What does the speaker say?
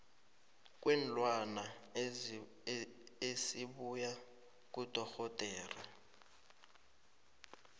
kweenlwana esibuya kudorhodera